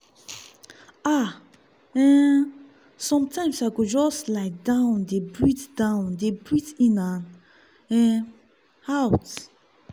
ah/ um sometimes i go just lie down dey breathe down dey breathe in and um out.